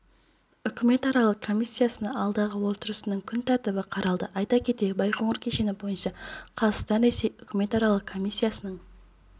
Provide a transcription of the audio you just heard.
үкіметаралық комиссиясының алдағы отырысының күн тәртібі қаралды айта кетейік байқоңыр кешені бойынша қазақстан-ресей үкіметаралық комиссиясының